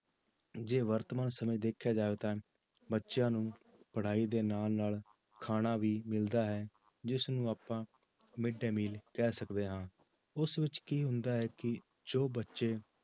ਜੇ ਵਰਤਮਾਨ ਸਮੇਂ ਦੇਖਿਆ ਜਾਵੇ ਤਾਂ ਬੱਚਿਆਂ ਨੂੰ ਪੜ੍ਹਾਈ ਦੇ ਨਾਲ ਨਾਲ ਖਾਣਾ ਵੀ ਮਿਲਦਾ ਹੈ, ਜਿਸਨੂੰ ਆਪਾਂ ਮਿਡ ਡੇ ਮੀਲ ਕਹਿ ਸਕਦੇ ਹਾਂ ਉਸ ਵਿੱਚ ਕੀ ਹੁੰਦਾ ਹੈ ਕਿ ਜੋ ਬੱਚੇ